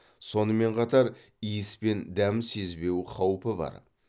сонымен қатар иіс пен дәм сезбеу қаупі бар